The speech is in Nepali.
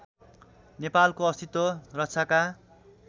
नेपालको अस्तित्व रक्षाका